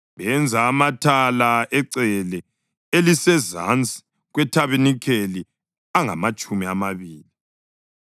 Benza amathala ecele elisezansi kwethabanikeli angamatshumi amabili,